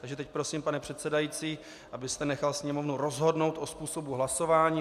Takže teď prosím, pane předsedající, abyste nechal Sněmovnu rozhodnout o způsobu hlasování.